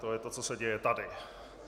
To je to, co se děje tady.